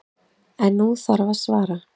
En nú þarf að svara.